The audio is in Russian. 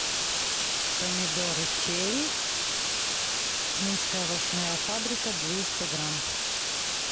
помидоры черри минская овощная фабрика двести грамм